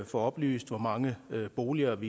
få oplyst hvor mange boliger